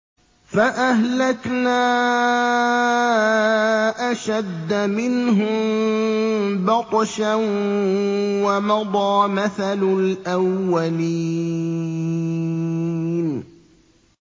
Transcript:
فَأَهْلَكْنَا أَشَدَّ مِنْهُم بَطْشًا وَمَضَىٰ مَثَلُ الْأَوَّلِينَ